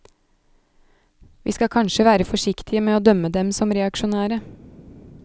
Vi skal kanskje være forsiktige med å dømme dem som reaksjonære.